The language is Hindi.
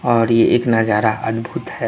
और ये एक नजारा अदभुत है।